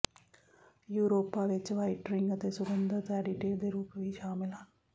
Europa ਵਿੱਚ whiting ਅਤੇ ਸੁਗੰਧਤ ਐਡਿਟਿਵ ਦੇ ਰੂਪ ਵੀ ਸ਼ਾਮਲ ਹਨ